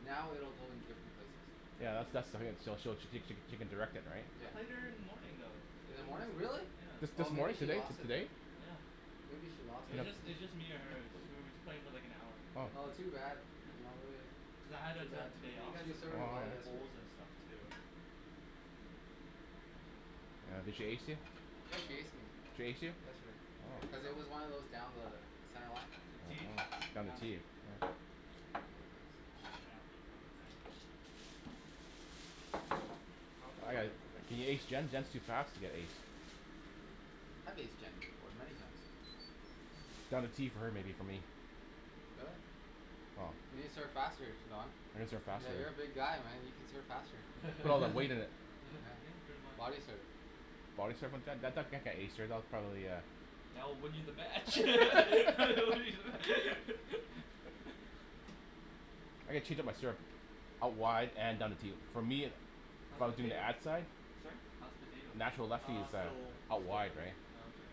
Now it will go in different places. Yeah, that's, that's so she'll, she cou- she she can direct it, right? I Yeah. played her in the morning though. In the morning? Really? This, Yeah. Oh, this maybe morning? she Today, t- lost it today? then. Yeah. Maybe she lost It was it. just, it was just me and her. Just we were just playing for, like, an hour. Oh. Oh too bad. You know. Yeah I had Too to bad. the day off. She was some serving Wow. well yesterday. bowls and stuff too. Oh, did she ace you? Yeah, she No. aced me. She ace you? Yesterday. Here you Cuz Oh. go. it was one of those down the center line. T? Oh no. Down the Down T. T. Was an kinda thing. I don't think you I are got it. letting He aced Jenn? Jenn's too fast to get aced. Have aced Jenn before. Many times. Got a T for her maybe for me. Really? Oh. You can serve faster Don? I can serve faster. Yeah. You're a big guy, man. You can serve faster. Put all that weight in it. Yeah, Yeah. pretty much. Body serve Body serve on Jenn that that that can't ace her, that'll probably a That will win you the match. I can cheat on my serve. a wide and for me, How's the from doing the potato? ad side? Sorry? How's the potato? Natural left field Uh, side. still, Out still wide cooking. right? Oh okay.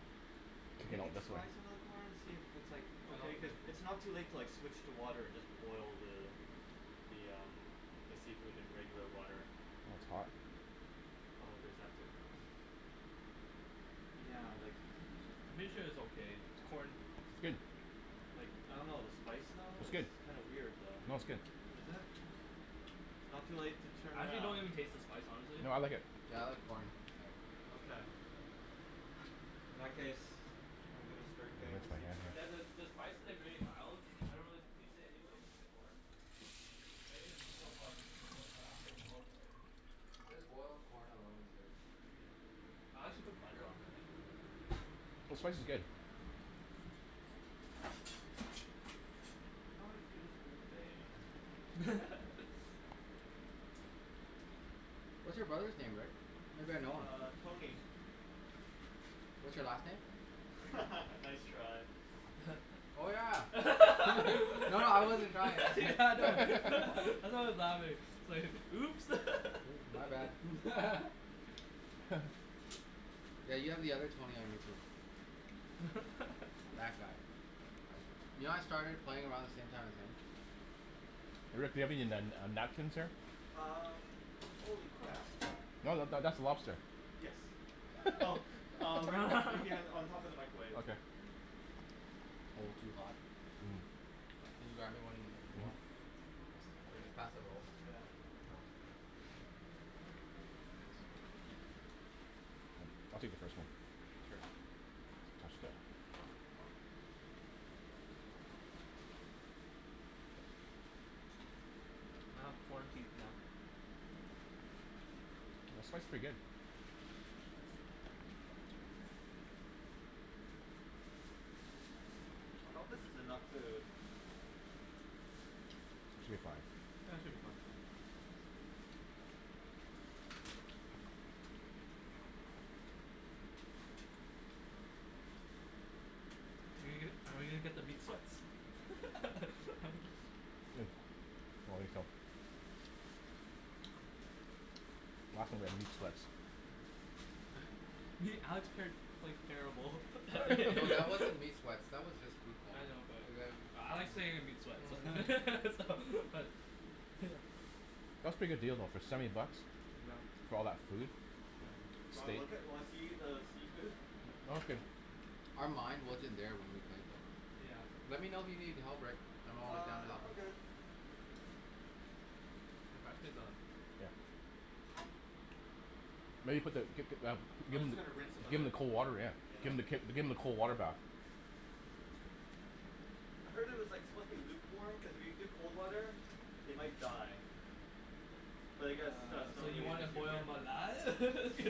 Okay, now Maybe this one? try some of the corn, and see if it's, like, okay, cuz it's not too late to, like, switch to water and just boil the, the um, the seafood in regular water. Oh, it's hot. Oh, there's that too. Yeah, like Pretty sure it's okay. Corn. Like, I don't know. The spice, though, It's good. it's kinda weird, though. No., it's good. Is it? It's not too late to turn I actually don't around. even taste the spice honestly. No, I like it. Yeah, I like corn. Okay. In that case, I'm gonna start getting the seafood You ready. guys uh, the spice is like really mild. I don't really taste it anyways in the corn. But in the meat you'll probably taste it cuz it'll, it'll, right? Just boiled corn alone is good. Yeah. I actually put butter on it. Like some butter in there. The spice is good. Not as good as Old Bay. What's your brother's name, Rick? Maybe I know him. Uh, Tony. What's your last name? Nice try. Oh yeah. No. No, no, I wasn't trying Yeah, I know. I know it's louder. It's like, "Oops." My bad. Yeah, you have the other Tony on your team. That guy. You know I started playing around the same time as him? Rick, do you have any nan- uh napkins here? Um. Holy crap. No, that, that's a lobster. Yes. Oh uh, right b- right behind, on top of the microwave. Okay. Oh, too hot Can you grab me one Will you pass the roll? Yeah. I'll take the first one. Sure. Touch that. I have corn teeth now. The spice is pretty good. I hope this is enough food. Should be fine. Yeah should be fine. Are we gonna, are we gonna get the meat sweats? Good. Control yourself. some of them meat sweats. Alex qu- quite- terrible at No, that wasn't meat sweats. That was just food coma. I know but, but I like saying meat sweats so so but Yeah. That's a pretty good deal though, for seventy bucks. Yeah. For all that food? Yeah. Do you want Steak. look at, you wanna see the seafood? Okay. Our mind wasn't there when we played though. Yeah. Let me know if you need help, Rick. I'm always down Uh, to no, help I'm you. good. Can you pass me the Yeah. Maybe put the give them, I was just gonna rinse 'em a give bit. them the cold water, yeah. Yeah. Give them the k- give them the cold water bath. I heard it was, like, supposed to be lukewarm because if you do cold water, they might die. But I guess that's So not you really an wanna issue boil here. 'em alive?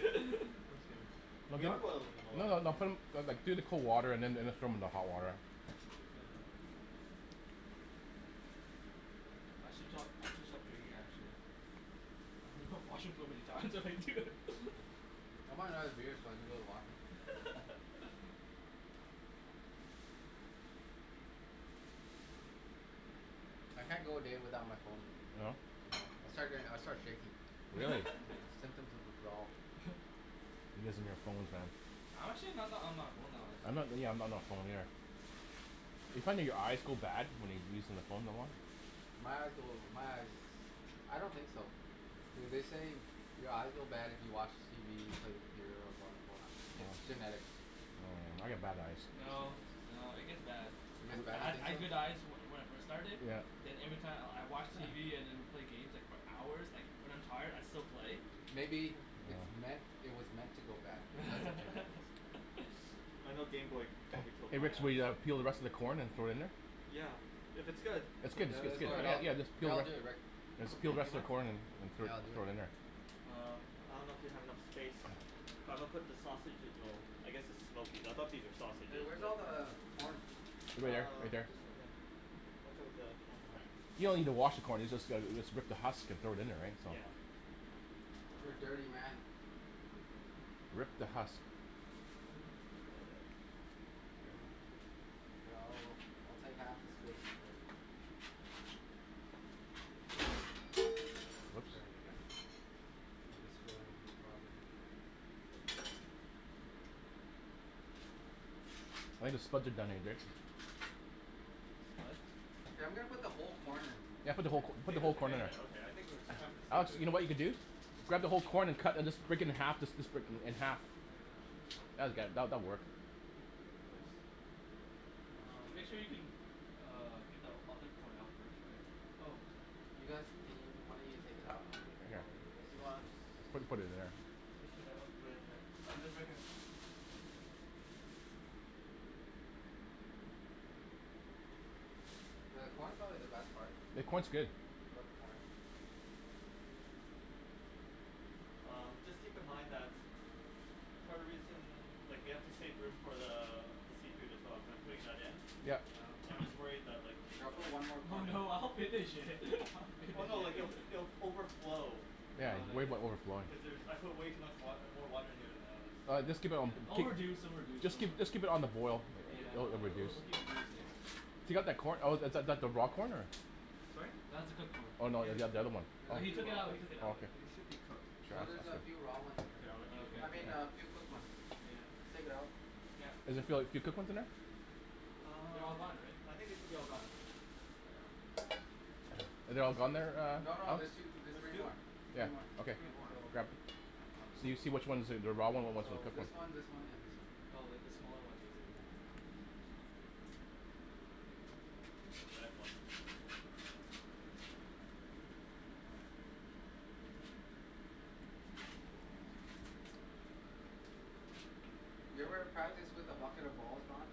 We are boilding them No, alive. no, no, put 'em, no, like, do the cold water and then, then throw them in the hot water. Yeah. I should stop, I should stop drinking actually. I washroom so many times already too. I want another beer so I can go to the washroom. I can't go a day without my phone. No? No. I'll start doing, I start shaking. Really? Yeah. Symptoms of withdrawal. You guys and your phones, man. I'm actually not that on my phone all I'm the time. not really, yeah, I'm not on my phone either. Do you find that your eyes go bad when you're using your phone that long? My eyes go, my eyes. I don't think so. Yeah, they say your eyes go bad if you watch TV, you play the computer, or you go on your phone. It's genetics. Oh, I get bad eyes. No, no. It gets bad. It I, gets I bad? You ha- I think so? had good eyes from, when I first started, Yeah. then every time I'll, I watch TV and then play games, like, for hours, like, when I'm tired I still play. Maybe, it's No. meant, it was meant to go bad because of genetics. I know gameboy Hey, probably killed hey my Rick, so eyes. we uh peel the rest of the corn and throw it in there? Yeah. If it's good, No, no, that's then good. all right. I get- no, I'll do it Rick. Just Okay. peel the Do rest you of mind? the corn and, and throw it, Here, I'll do it. throw it in there. Um. I don't know if you have enough space. It's fine. But I'm gonna put the sausage- well, I guess its smokies, I thought these were Hey, sausages, where's all but the corn? Over there, Uh, right there. just in there. Watch out for the camera. You don't even wash the corn. You just go, you just rip the husk and throw it in there, right? So. Yeah. You're a Uh. dirty man. Rip the husk. Here, I'll, I'll take half the space, Rick. Sorry. You okay? I'm destroying property. I think the spuds are done What? Hey, I'm gonna put the whole corn in. Yeah, put the whole co- put the whole Potatoes are corn in. getting there, okay. I think we're, it's time for the Alex, seafood. you know what you can do? Grab the whole corn and cut and just break it in half and just sp- split it in half. Oh yeah. That'll get, that, that'll work. Nice. And Um. make sure you can uh get the other corn out first, right? Oh. You guys, can y- one of you take it out while I do this? Put, put it there. Fish it out with Oh right here. Yeah, the corn's probably the best part. The corn's good. I love the corn. Um, just keep in mind that Part of the reason, like we have to save room for the, the seafood as well cuz I'm putting that in. Yeah. Yeah, I'm just worried that like Yo, I'll put one more Oh corn in. no, I'll finish it. I'll finish Oh no. Like if, it. it'll f- overflow. Yeah, he's worried about overflowing. Cuz there's, I put way too much wa- uh, more water in here than I was All right, just keep it on the It'll b- reduce, keep, it'll reduce. just Don't worry. keep, just keep it on the boil. Yeah. It'll, It'll, will it'll, reduce. it'll, it'll keep reducing. Oh. If you got that corn, oh is that, that the raw corn or? Sorry? That's a cooked corn. Oh no, It is the oth- the other one. cooked. Oh. No, he took it out. He took it Oh out. okay. It should be cooked. No, there's a few raw ones in there. Here, I'll let Oh okay, you I mean, a cool. few cooked ones. Yeah. Take it out. Yeah. Does it feel like few cooked ones in there? They're Um, all gone, right? I think it should be all gone. Are they all gone there, No, uh no. Alex? There's two, there's three There's two? more. Yeah, Three more. okay, There's more. So grab. So you see which ones are the, the raw one or what's the So, cooked this one. one, this one, and this one. Oh like, the smaller one basically. The red one. You ever practice with a bucket of balls, Don?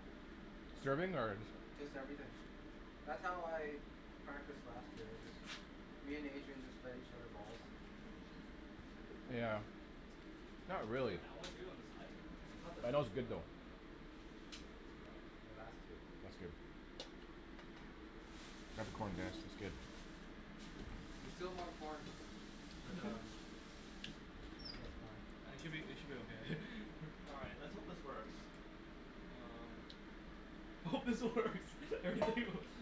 Serving? Or? Just everything. That's how I practiced last year. I just, me and Adrian just fed each other balls. Yeah. Not really. That one too? On the side? Oh, that was good though. Here, last two. That's good. Grab a corn, guys. It's good. There's still more corn. But Mhm. um I'm sure it's fine. I think should be, it should be okay. All right. Let's hope this works. Um. I hope this works.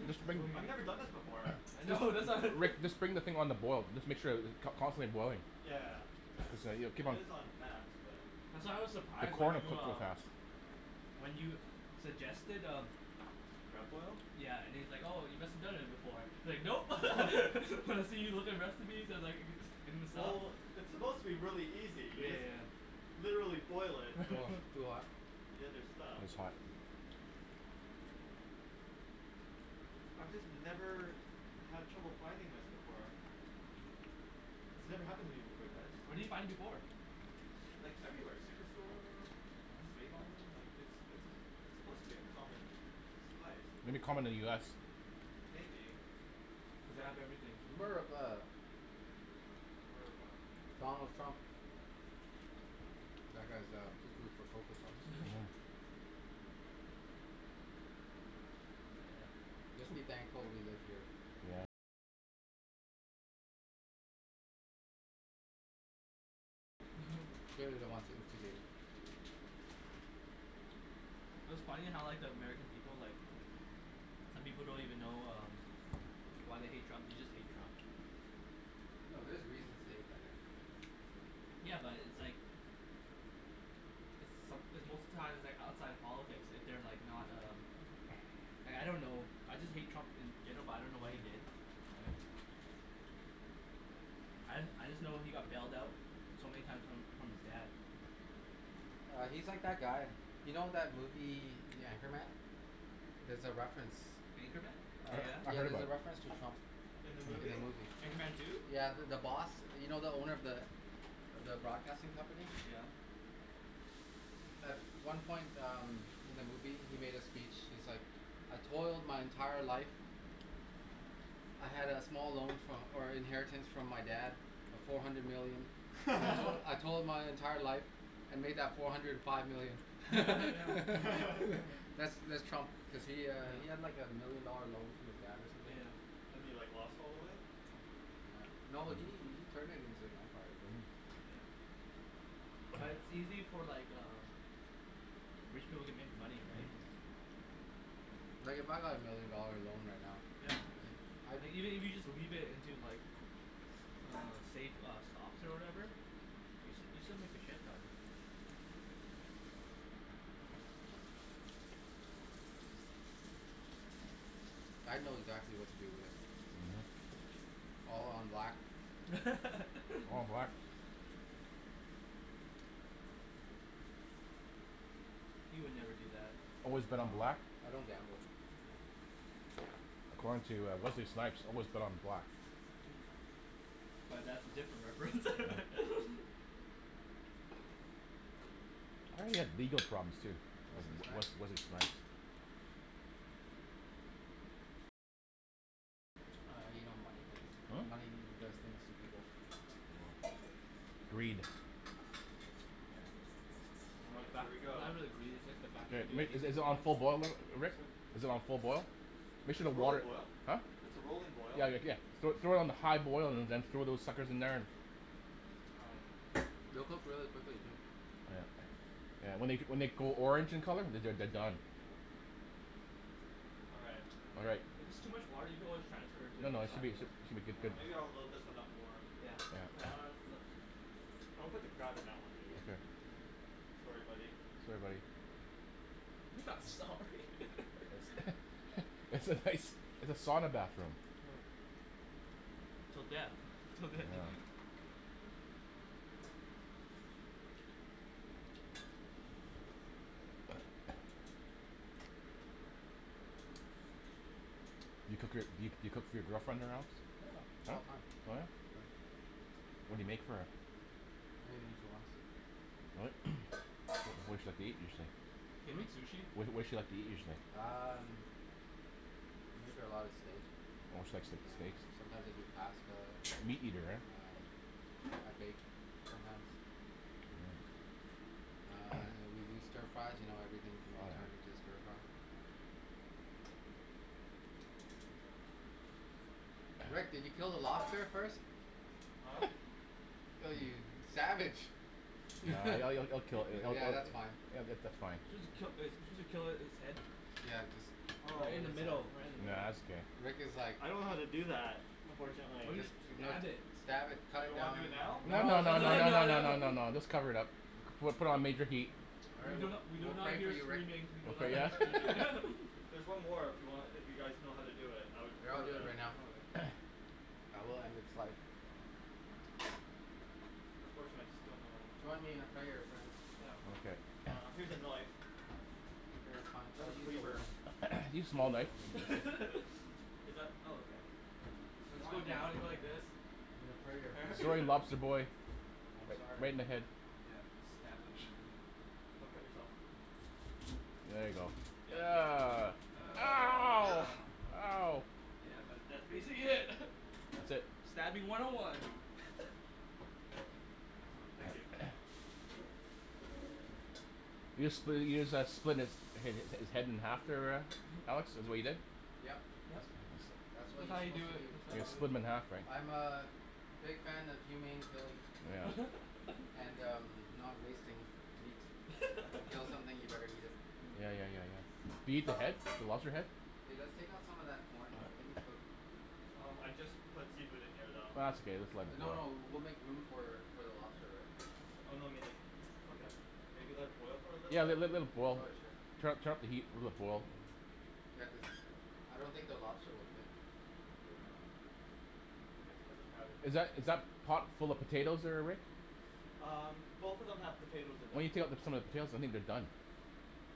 Just bring I've never done this before. I know. that's why Rick, just bring the thing on the boil. Just make sure that it, con- constantly boiling. Yeah. It's, keep it on is on max, but That's why I was The surprised corn when will you cook real uh fast. When you suggested, uh Crab boil? Yeah, and he's like, "Oh you must have done it before." He's like, "Nope." I see you with the recipes. I was, like, in the Sub. Well, it's supposed to be really easy. You Yeah, yeah, just yeah. literally boil it with, Wow, too hot. the other stuff. It's hot. I just never had trouble finding this before. This never happened to me before, guys. Where did you find it before? Like everywhere. Superstore? save-on? Like, it's, it's a, it's supposed to be a common spice. Maybe common in the US. Maybe. Cuz they But have everything. America. America. Donald Trump. That guy's uh, coo coo for Coco Puffs. Mhm. Just be thankful we live here. Clearly they want to instigate it. It was funny how like the American people, like, some people don't even know uh why they hate Trump. They just hate Trump. No, there's reasons to hate that guy. Yeah, but it's like It's some- it's most of the time it's, like, outside politics if they're, like, not uh Like I don't know, I just hate Trump and they, but I don't know what he did, right? I, I just know he got bailed out so many time from, from his dad. Uh he's like that guy. You know that movie, The Anchorman? There's a reference. Anchorman? Uh Oh yeah. I yeah. heard There's about a it. reference to Trump. In the In the movie? movie. Anchorman two? Yeah, the, the boss. You know the owner of the, of the broadcasting company? Yeah. At one point um, in the movie, he made a speech. He's like, "I told my entire life. I had a small loan fro- or inheritance from my dad of four hundred million. I told, I told my entire life and made that four hundred five million." That's, that's Trump cuz he uh he had like a million dollar loan from his dad or something. Yeah. And he, like, lost all of it? Yeah. No, he, he turned it into an empire though. Mhm. Like it's easy for, like, uh rich people to make money, right? Mhm. Like if I got a million dollar loan right now Yeah. I'd Like, even if you just leave it into like s- uh safe uh stocks or whatever, you s- you still make a shit ton. I'd know exactly what to do with it. Mhm. All on black. All on black. He would never do that. Always No. bet on black? I don't gamble. According to uh, Wesley Snipes, always bet on black. But that's a different reference. I heard he had legal problems too. Wesley W- Snipes? Wesley Snipes. Uh, you know money things, money Hm? does things to people. Greed. Yeah. All right. Here we go. Good. Rick, is it, is it on full boil, Li- Rick? Is it on full boil? Make sure the It's roller water- boil. huh? It's a rolling boil. Yeah, Rick, yeah. Throw, throw it on high boil and then throw those suckers in there. All right. They'll cook really quickly too. Yeah. Yeah, when they g- when they go orange in colour, they're, they're, they're done. All right. All right. If it's too much water, you can always transfer it to, No, no, it should right? be, it should, it should be Yeah, good. maybe I'll load this one up more. Yeah. Yeah, Yeah. that one looks I'll put the crab in that one, maybe. Okay. Sorry, buddy. Sorry, buddy. You're not sorry. It's a nice, it's a sauna bathroom. Till death. Till death. Yeah. Do you cook your, do you, do you cook for your girlfriend at her house? Yeah, all the time. Oh yeah. Yeah. What do you make for her? Anything she wants. What? What, what does she like to eat usually? Can you eat sushi? What, what does she like to eat usually? Um. I make her a lot of steak. Oh she likes, like, Yeah. steaks? Sometimes I do pasta. Meat eater, eh? Um. I bake. Sometimes. Hm. Uh and we do stir fries, you know everything can be Oh turned into a yeah. stir fry. Rick, did you kill the lobster first? Huh? Ew, you, you savage. Yeah. Ye- Yeah, it'll, it'll, it'll kill, it'll kill yeah, it that's fine. Yeah, that's, that's fine. Supposed to kill uh are you suppose to kill it, its head? Yeah, Oh. Right in the just middle, right in the middle. Rick was like I don't know how to do that, Or unfortunately. Or just, just you know, stab it. stab it. Do Cut you it wanna down. do it now? No, No, no, no, no, no, too no, No, late. no, no, no, no. no, no, just cover it up. Put it, put it on major heat. All We right. do We'll, not, we do we'll not pray for hear you Rick. screaming, we do We'll not pray, yeah hear screaming. There's one more if you want, if you guys know how to do it. I would Yeah, I'll prefer do it that, right now. actually. Yeah, we'll end its life. Unfortunately, I just don't know Join me in a prayer, friends. Yeah. Okay. Uh, here's a knife. Okay, fine. I'll use Is that? Oh okay. Or just go Join me now down, you go like this. in a prayer, friends. Sorry, lobster boy. I'm Right sorry. in the head. Yeah. Stab him. Don't cut yourself. There you go. Ugh. Ow. Ow. Yeah, but that's basically it. That's it. Stabbing one oh one. Oh, thank you. You just split it, you just uh split its, hi- hi- his head in half there, uh Alex? Is what you did? Yep. Yes. That's what That's you're how you supposed do to it, do. that's how You you do split it. him in half, Oh. right? I'm a big fan of humane killing. And um, not wasting meats. You kill something, you better eat it. Yeah, yeah, yeah, yeah. Do you eat the head? The lobster head? Hey, let's take out some of that corn. I think it's cooked. Oh, I just put seafood in here, though. Ah, it's okay. Just let it No, boil. no. We'll make room for, for the lobster, right? Oh no, I mean like, okay. Maybe let it boil for a little Yeah, bit? let- let- let it boil. Okay, sure. Turn up, turn up the heat, let it boil. Yeah, cuz uh, I don't think the lobster will fit. Yeah. just put the crab in here, Is that, is that too. pot full of potatoes there, Rick? Um, both of them have Why potatoes in them. don't you take out the, some of the potatoes? I think they're done.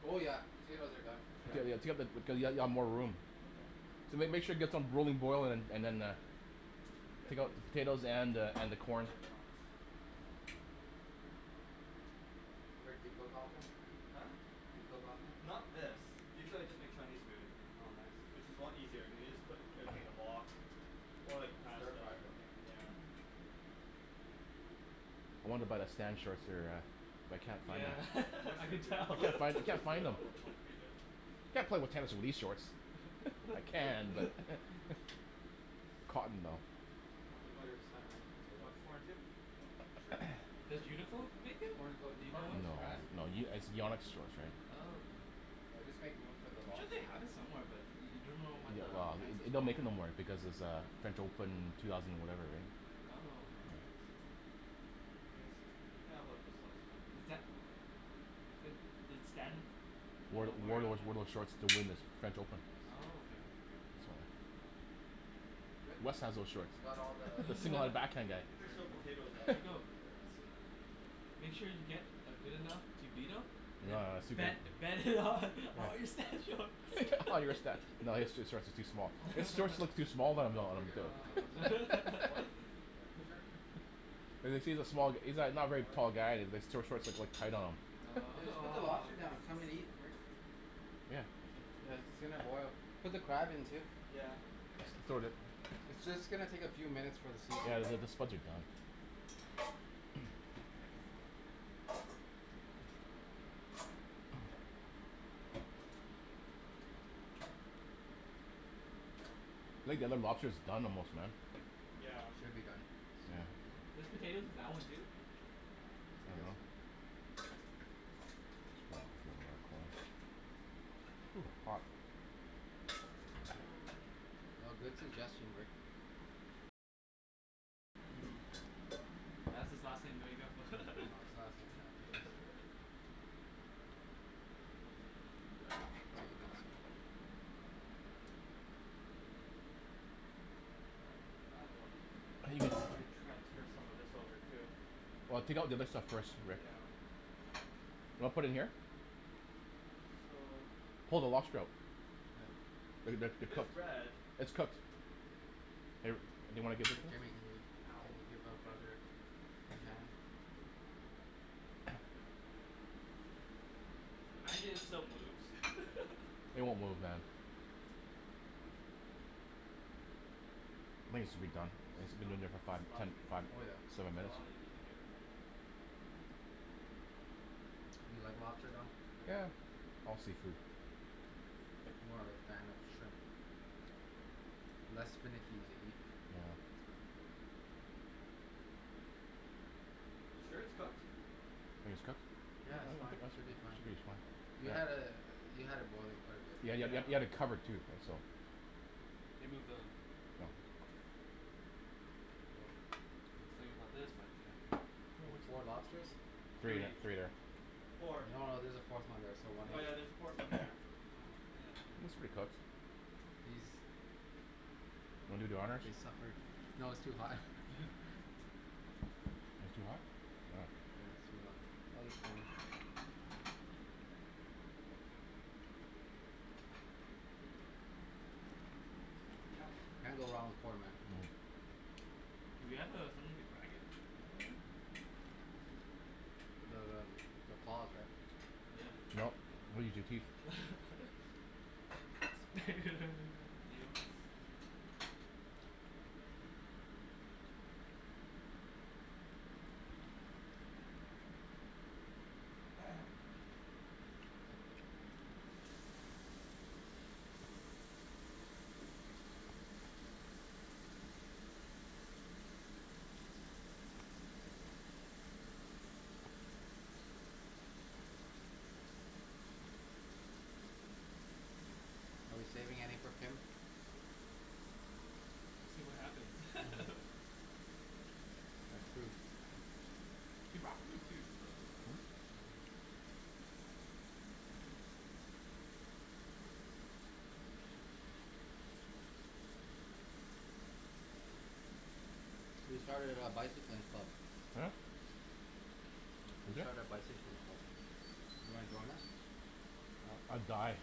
Oh yeah. Potatoes are done for sure. Yeah? Yeah, yeah, take out the, cuz you'll ha- you'll have more room. Okay. So make, make sure you get some rolling boil and, and then uh, take out the potatoes and uh, and the corn. Rick, do you cook often? Huh? Do you cook often? Not this. Usually I just make Chinese food. Oh nice. Which is a lot easier, you can just put everything in a wok. Or, And like, stir pasta fry, or something. right? Yeah. I wanna buy the Stan shorts there, uh but I can't find Yeah. them. I Western can food tell. Can't find, is can't usually a find them. lot more complicated. Can't play with tennis in these shorts. I can, but. Cotton though. I don't think there's that many You potatoes. want corn, too? Sure. Does Uniqlo make it? Corn cook, Do you know corn what cooks No, fast. brand? no, Ye- it's Yonex shorts, right? Oh okay. Yeah, just make room for the I'm sure they lobster, yeah? have it somewhere but, you, you don't know what the Well, it's, and they don't make it no more because it's uh French Open two thousand whatever, right? Oh. Is that Did Stan Uh Wore, wear it wore those, on wore those uh short to win his French Open. Oh okay. So. Good? Wes has those shorts. You got all the s- a back hand guy. I think is there's there still anymore? potatoes in there as well. Let's see. Make sure you get uh good enough to beat him and then No, uh, he's too bet, good. bet him on all your Stan shorts. All your Sta- no, his shorts are too small. His Oh. shorts look too small on. No, we're good on potatoes. Corn? Yeah. Sure. Cuz, cuz he's a small, he's not, not a very tall guy and his short, shorts look, look tight on him. Yeah, just Oh put the lobster down. Come and eat, Rick. Yeah. Yeah, it's gonna boil. Put the crab in too. Yeah. It's just gonna take a few minutes for the Yeah, seafood. the, the, the spuds are done. Think the other lobster's done almost, man. Yeah. Should be done. Soon. There's potatoes in that one too? Ooh. Hot. No. Oh good suggestion, Rick. That's his last name, there you Oh go. his last name. transfer some of this over, too. Well, take out the other stuff first, Rick. You wanna put it in here? So Pull the lobster out. Yeah. They're good, they're It is cooked. red. It's cooked. Hey, Rick. Do you? Can Ow. you give up, Okay. brother? Uh huh. Imagine it still moves. It won't move, man. I think it should be done. It's been in Don't there for five, splash ten, me up five, there. Oh yeah. seven That's minutes. all you need to care about. More? Do you like lobster, Don? Yeah. All seafood. I'm more of a fan of shrimp. Less finicky to eat, Yeah. so. You sure it's cooked? Think it's cooked? Yeah, it's fine. Should be fine. Should be fine. You had it, you had it boiling quite a bit. Yeah, you had, you Yeah. had, you had it covered too, so. the Oh. Oh. I was thinking about this part here. Oh, four lobsters? Three Three. there. No, Four. no, there's there a fourth one there. So one Oh l- yeah, there's a fourth one here. Oh yeah, Looks pretty I cooked. think He's, Wanna do the honors? he's suffered. No, it's too hot. Yeah. Is it too hot? Oh. Yeah. It's too hot. I'll eat corn. Can't Yep. go wrong with corn, man. Mhm. Do we have uh something to crack it, by the way? The um, the claws, right? Yeah. No. We use your teeth. Potato. Are we saving any for Kim? We'll see what happens. Hm. That's true. She bought food too, so. Hm? We started a bicycling club. Huh? Who We did? started a bicycling club. You wanna join us? Uh, I'd die.